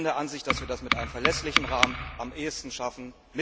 Ich bin der Ansicht, dass wir das mit einem verlässlichen Rahmen am ehesten schaffen.